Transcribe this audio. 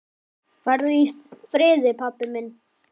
Farðu í friði, pabbi minn.